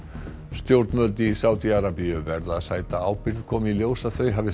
stjórnvöld í Sádí Arabíu verða að sæta ábyrgð komi í ljós að þau hafi